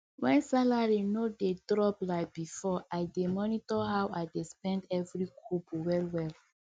when salary no dey drop like before i dey monitor how i dey spend every kobo wellwell